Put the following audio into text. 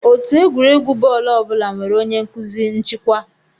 Otù egwuregwu bọọlụ ọ bụla nwere onye nkụzi (nchịkwa).